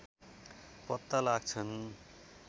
पत्ता लाग्छन्